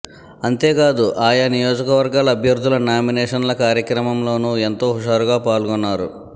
అంతేకాదు ఆయా నియోజకవర్గాల అభ్యర్థుల నామినేషన్ల కార్యక్రమంలోనూ ఎంతో హుషారుగా పాల్గొన్నారు